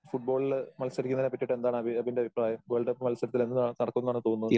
ഫുട്‍ബോളില് മത്സരിക്കണതിനെപ്പറ്റിയിട്ട് എന്താണ് അബി അബിന്റെ അഭിപ്രായം. വേൾഡ് കപ്പ് മത്സരത്തിൽ എന്ന് നടക്കും എന്നാണ് തോന്നുന്നത്?